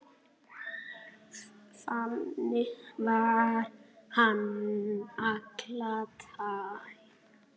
Þannig var hann alla tíð.